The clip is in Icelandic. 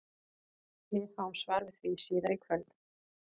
Við fáum svar við því síðar í kvöld!